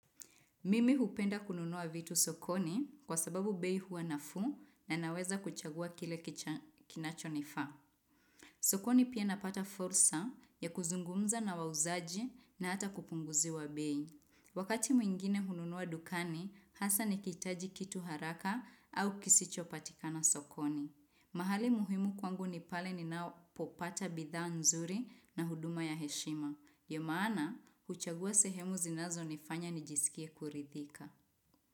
Mimi hupenda kununua vitu sokoni kwa sababu bei huwa nafuu na naweza kuchagua kile kinachonifaa. Sokoni pia napata fursa ya kuzungumza na wauzaji na hata kupunguziwa bei. Wakati mwingine hununua dukani, hasa nikihitaji kitu haraka au kisichopatikana sokoni. Mahali muhimu kwangu ni pale ninapopata bidhaa nzuri na huduma ya heshima. Ya maana, kuchagua sehemu zinazonifanya nijisikia kuridhika.